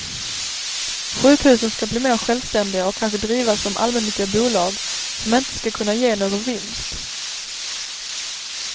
Sjukhusen ska bli mer självständiga och kanske drivas som allmännyttiga bolag som inte ska kunna ge någon vinst.